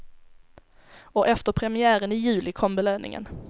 Och efter premiären i juli kom belöningen.